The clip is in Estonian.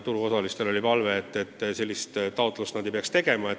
Turuosalistel oli palve, et nad ei peaks uut taotlust esitama.